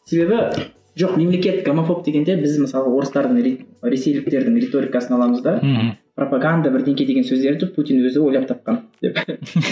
себебі жоқ мемлекет гомофоб дегенде біз мысалы орыстардың ресейліктердің реторикасын аламыз да мхм пропоганда деген сөздерді путин өзі ойлап тапқан